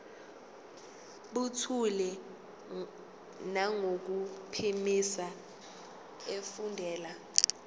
buthule nangokuphimisa efundela